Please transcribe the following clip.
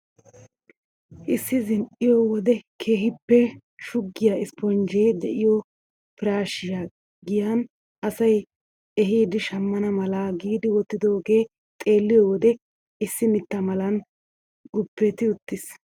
Issi zin"iyoo wode keehippe shuggiyaa isponjjee de'iyoo piraashshiyaa giyan asay yiidi shammana mala giidi wottidoogee xeelliyoo wode issi mitta malan guupeti uttiis.